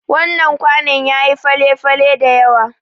Wannan kwanon yayi fale-fale dayawa.